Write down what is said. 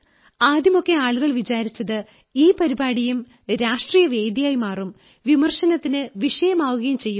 ആദ്യമൊക്കെ ആളുകൾ വിചാരിച്ചത് ഈ പരിപാടിയും ഒരു രാഷ്ട്രീയവേദിയായി മാറും വിമർശനത്തിന് വിഷയമാകുകയും ചെയ്തു